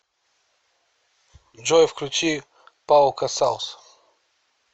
джой включи пау касалс